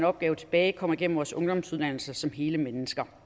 opgave tilbage kommer igennem vores ungdomsuddannelser som hele mennesker